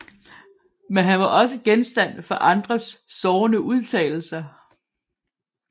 Men han var også genstand for andres sårende udtalelser